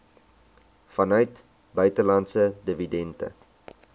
vanuit buitelandse dividende